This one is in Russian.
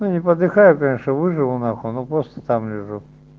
ну не подыхаю конечно выживу нахуй но просто там лежу